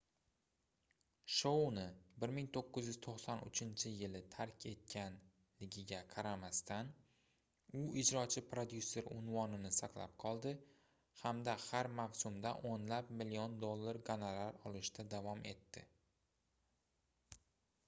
shouni 1993-yili tark etganligiga qaramasdan u ijrochi prodyuser unvonini saqlab qoldi hamda har mavsumda oʻnlab million dollar goronar olishda davom etdi